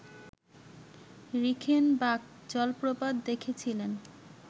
Reichenbach জলপ্রপাত দেখেছিলেন